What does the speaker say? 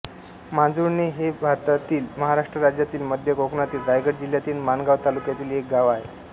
मांजुर्णे हे भारतातील महाराष्ट्र राज्यातील मध्य कोकणातील रायगड जिल्ह्यातील माणगाव तालुक्यातील एक गाव आहे